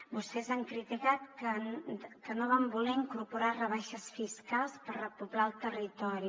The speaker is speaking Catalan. vostès han criticat que no vam voler incorporar rebaixes fiscals per repoblar el territori